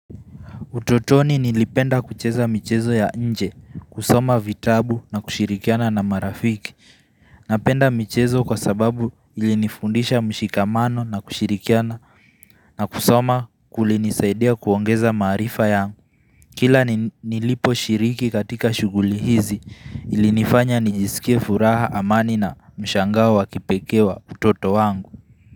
Utotoni nilipenda kucheza michezo ya nje kusoma vitabu na kushirikiana na marafiki Napenda michezo kwa sababu ilinifundisha mshikamano na kushirikiana na kusoma kulinisaidia kuongeza maarifa yangu Kila nilipo shiriki katika shuguli hizi ilinifanya nijisikie furaha amani na mshangao wa kipekee wa utoto wangu.